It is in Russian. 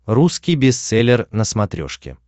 русский бестселлер на смотрешке